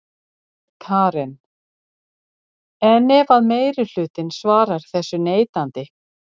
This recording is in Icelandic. Karen: En ef að meirihlutinn svarar þessu neitandi?